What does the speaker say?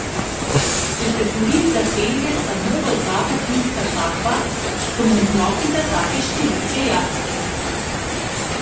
Če se turist zapelje samo v dva bohinjska kampa, so mu vzroki za take številke jasni.